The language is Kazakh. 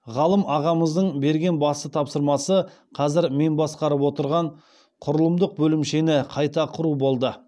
ғалым ағамыздың берген басты тапсырмасы қазір мен басқарып отырған құрылымдық бөлімшені қайта құру болды